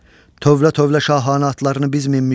Tövlə-tövlə şahanə atlarını biz minmişik.